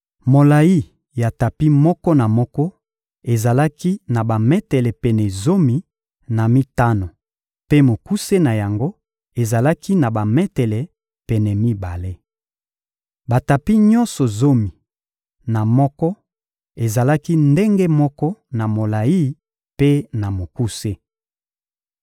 Molayi ya tapi moko na moko ezalaki na bametele pene zomi na mitano mpe mokuse na yango ezalaki na bametele pene mibale. Batapi nyonso zomi na moko ezalaki ndenge moko na molayi mpe na mokuse.